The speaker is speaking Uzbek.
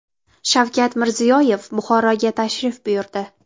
Shavkat Mirziyoyev Buxoroga tashrif buyurdi.